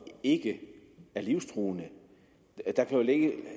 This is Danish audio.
ikke er livstruende der kan jo